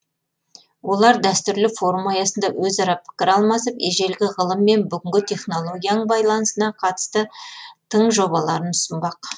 олар дәстүрлі форум аясында өзара пікір алмасып ежелгі ғылым мен бүгінгі технологияның байланысына қатысты тың жобаларын ұсынбақ